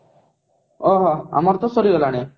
ଓ ହୋ ଆମର ତ ସରି ଗଲାଣି